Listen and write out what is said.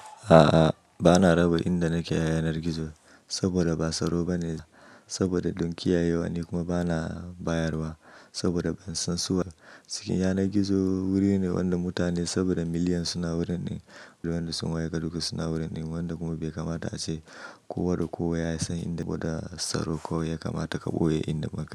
A'a, bana raba inda nake yanar gizo saboda ba tsaro bane, saboda don kiyaye wa ne kuma bana bayarwa saboda ban san su ba. Yanar gizo wuri ne wanda mutane saboda miliyan suna wurin din, da wanda sun waye ka duk suna wurin din wanda kuma bai kamata ace kowa da kowa ya san inda, saboda tsaro kawai ya kamata ka ɓoye inda ma kai.